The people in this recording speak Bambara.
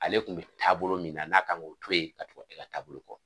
Ale kun bɛ taabolo min na n'a kan k'o to yen ka tugu ne ka taabolo kɔ.